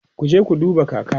kuje ku duba kaka!